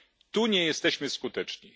Tu nie jesteśmy skuteczni.